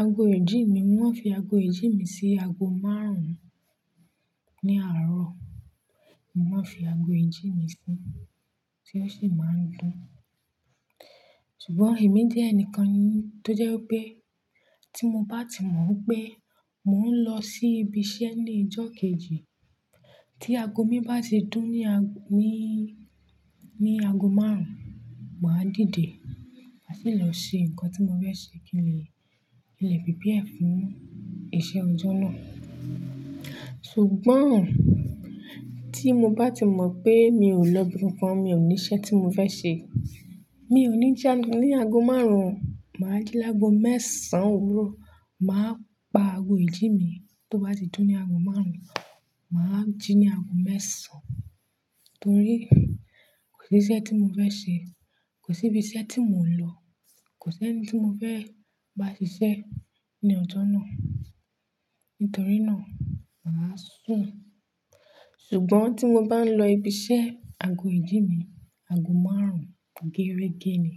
Àagó ìjí mí, mó máa ń fí àagó ìjí mi sí àago márùn-ún ní àárọ̀. Mó máa ń fi àagó ìjí mí síi, tí ó sì máa ń dù n. Ṣùgbọ́n èmi jẹ́ ẹnìkan tó jẹ́ pé tí mo bá ti mọ̀ pé mò ń lọ sí ibi iṣẹ́ ní ìjọ́ kejì, tí àago mi bá ti dùn ní, ní, ní àago márùn-ún, màá dìde. Màá sì lọ ṣe nǹkan tí mo fẹ́ ṣe kín prepare fún iṣẹ́ ọjọ́ náà. Ṣùgbọ́n tí mo bá ti mọ̀ pé mi ò lọ ibikàn, mi ò ní iṣẹ́ tí mo fẹ́ ṣe, mi ò ní jí ní àago márùn-ún, màá jí lágó mẹ́sàn-án òwúrọ̀. Màá pa àago ìjí mi tó bá ti dùn ní àago márùn-ún, màá jí ní àago mẹ́sàn-án. Nítòrí kò sí iṣẹ́ tí mó fẹ́ ṣe. Kò sí ibi iṣẹ́ tí mò ń lọ. Kò sí ẹní tí mó fẹ́ bá ṣiṣẹ́ ní ọjọ́ náà. Nítorí náà, màá sùn. Ṣùgbọ́n tí mo bá ń lọ ibi iṣẹ́, àago ìjí mi, àago márùn-ún gééré gé ni.